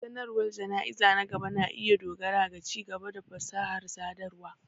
Sanarwar jana'izar na gaba na iya dogara ga ci-gaba da fasahar sadarwa.